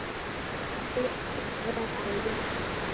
En blikur eru á lofti.